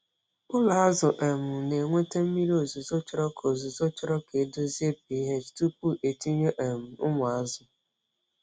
Ụlọ azụ um na-enweta mmiri ozuzo chọrọ ka ozuzo chọrọ ka e dozie pH tupu e tinye um ụmụ azụ.